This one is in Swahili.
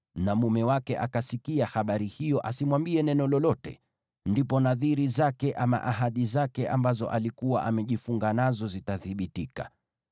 na mume wake akasikia habari hiyo asimwambie neno lolote, ndipo nadhiri zake ama ahadi zake ambazo alikuwa amejifunga nazo zitathibitika.